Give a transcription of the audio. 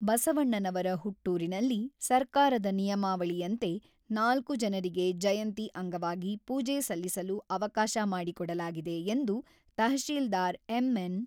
ಬಸವಣ್ಣನವರ ಹುಟ್ಟೂರಿನಲ್ಲಿ ಸರ್ಕಾರದ ನಿಯಮಾವಳಿಯಂತೆ ನಾಲ್ಕು ಜನರಿಗೆ ಜಯಂತಿ ಅಂಗವಾಗಿ ಪೂಜೆ ಸಲ್ಲಿಸಲು ಅವಕಾಶ ಮಾಡಿಕೊಡಲಾಗಿದೆ ಎಂದು ತಹಶೀಲ್ದಾರ್ ಎಂ.ಎನ್.